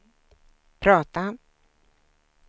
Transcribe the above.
prata